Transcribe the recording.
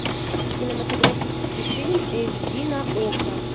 кинематографический фильм эйч ди на окко